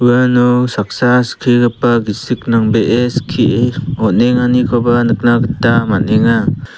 uano saksa skigipa gisik nangbee skie on·enganikoba nikna gita man·enga.